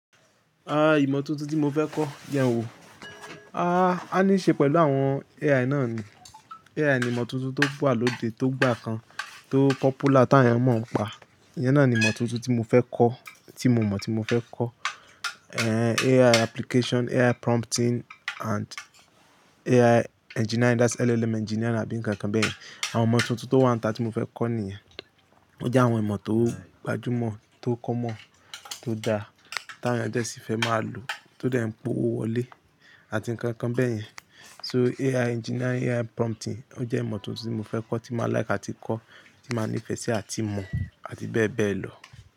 Ara imọ̀ tuntun tí mo fẹ́ kọ́ jẹn wò, á ní ṣe pẹ̀lú àwọn AI náà ni. AI ni ìmọ̀ tuntun tó wà lóde, tó gbà kan, tó popular tí àwọn èeyàn mọ̀ ń pa. Iyẹn náà ni ìmọ̀ tuntun tí mo fẹ́ kọ́, tí mo mọ̀ tí mo fẹ́ kọ́. AI application, AI prompting and AI engineering that's LLM engineering àbí ǹkan kan bẹ̀yẹn. Àwọn ìmọ̀ tuntun tó wan ta tí mo fẹ́ kọ́ nìyẹn. Ó jẹ́ àwọn ìmọ̀ tó gbajúmọ̀, tó common, tó da, tí àwọn èeyàn dẹ̀ sí fẹ́ máa lò, tó dẹ̀ ń po owó wọlé àti ǹkan kan bẹ̀yẹn. So AI engineering, AI prompting ó jẹ́ ìmọ̀ tuntun tí mo fẹ́ kọ́, tí mà like àti kọ́, tí mà nífẹ̀ẹ́ sí àti mọ̀ àti bẹ́ẹ̀ bẹ́ẹ̀ lọ.